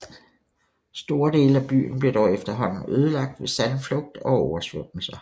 Store dele af byen blev dog efterhånden ødelagt ved sandflugt og oversvømmelser